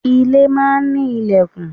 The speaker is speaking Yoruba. Ilé máa ń ní lẹ̀kùn.